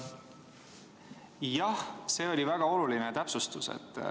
Jah, see oli väga oluline täpsustus.